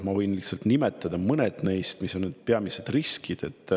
Ma võin lihtsalt nimetada mõne neist, mis on need peamised riskid.